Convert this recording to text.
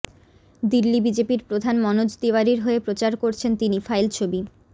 দিল্লি বিজেপির প্রধান মনোজ তিওয়ারির হয়ে প্রচার করেছেন তিনি ফাইল ছবি